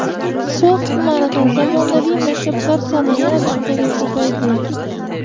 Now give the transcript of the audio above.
So‘x tumanida zamonaviy maktablar soni yana bittaga ko‘paydi.